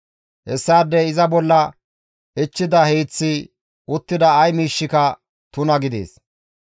«Hessaadey iza bolla ichchida hiiththi, uttida ay miishshika tuna gidees.